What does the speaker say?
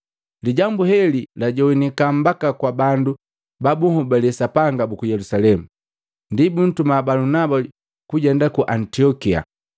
Lijambu heli lajogwanika mbaka kwa bandu ba bunhobale Sapanga buku Yelusalemu. Ndi buntuma Balunaba kujenda ku Antiokia.